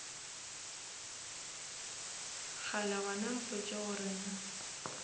kgale gona mpotše gore na